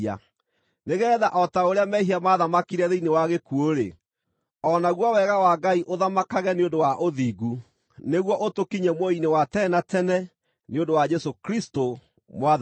nĩgeetha o ta ũrĩa mehia maathamakire thĩinĩ wa gĩkuũ-rĩ, o naguo wega wa Ngai ũthamakage nĩ ũndũ wa ũthingu, nĩguo ũtũkinyie muoyo-inĩ wa tene na tene nĩ ũndũ wa Jesũ Kristũ Mwathani witũ.